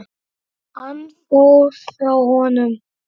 Hann fór frá honum.